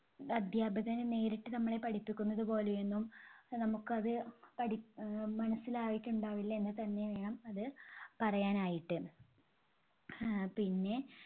അധ്യാപകന് നേരിട്ട് നമ്മളെ പഠിപ്പിക്കുന്നതുപോലെയൊന്നും നമുക്കത് പഠി ആഹ് മനസ്സിലായിട്ടുണ്ടാവില്ല എന്നുതന്നെ വേണം അത് പറയാനായിട്ട്. ആഹ് പിന്നെ